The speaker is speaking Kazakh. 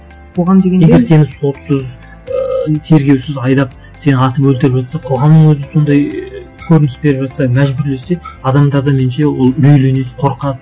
қоғам дегенде егер сені сотсыз ыыы тергеусіз айдап сені атып өлтіріп жатса қоғамның өзі сондай көрініс беріп жатса мәжбүрлесе адамдар да меніңше ол үрейленеді қорқады